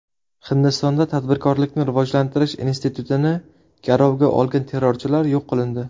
Hindistonda tadbirkorlikni rivojlantirish institutini garovga olgan terrorchilar yo‘q qilindi.